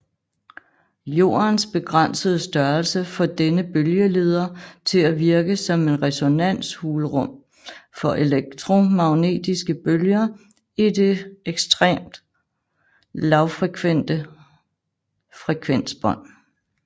Jordens begrænsede størrelse får denne bølgeleder til at virke som en resonanshulrum for elektromagnetiske bølger i det ekstreme lavfrekvente frekvensbånd